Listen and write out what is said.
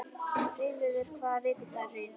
Freyviður, hvaða vikudagur er í dag?